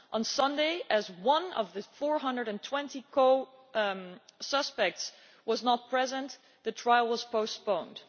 On Sunday last, as one of the 420 co defendants was not present, the trial was postponed.